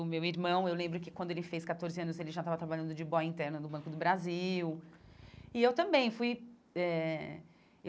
O meu irmão, eu lembro que quando ele fez catorze anos, ele já estava trabalhando de boy interno no Banco do Brasil e eu também fui eh.